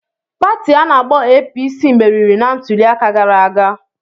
Pati ana-akpo APC meriri na ntuliaka gara aga.